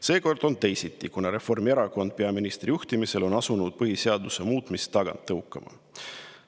Seekord on teisiti, kuna Reformierakond peaministri juhtimisel on asunud põhiseaduse muutmist tagant tõukama.